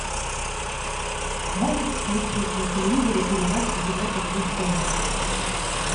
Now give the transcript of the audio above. можешь включить на телевизоре передачу европа плюс тв